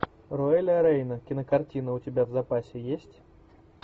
роэля рейна кинокартина у тебя в запасе есть